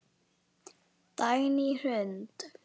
Dagný Hrund.